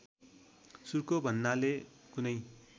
सुर्को भन्नाले कुनै